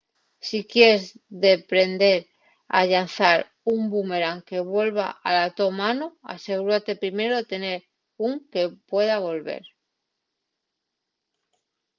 si quies deprender a llanzar un bumerán que vuelva a la to mano asegúrate primero de tener ún que pueda volver